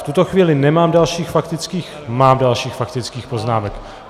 V tuto chvíli nemám dalších faktických... mám dalších faktických poznámek.